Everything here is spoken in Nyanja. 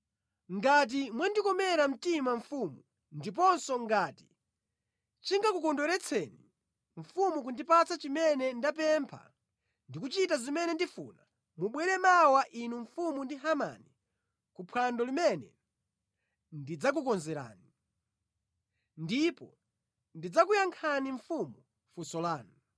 Ngati mwandikomera mtima mfumu ndiponso ngati chingakukondweretseni mfumu kundipatsa chimene ndapempha ndi kuchita zimene ndifuna, mubwere mawa inu mfumu ndi Hamani ku phwando limene ndidzakukonzerani. Ndipo ndidzakuyankhani mfumu funso lanu.”